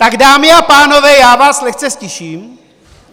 Tak dámy a pánové, já vás lehce ztiším.